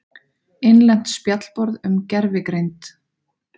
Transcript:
Innlent spjallborð um gervigreind.